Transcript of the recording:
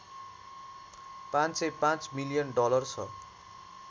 ५०५ million dollar छ